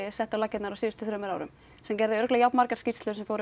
setti á laggirnar á síðustu árum sem gerði örugglega jafn margar skýrslur sem fóru